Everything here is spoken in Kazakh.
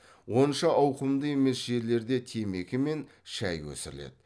онша ауқымды емес жерлерде темекі мен шай өсіріледі